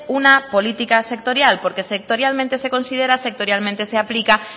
una política sectorial porque sectorialmente se considera sectorialmente se aplica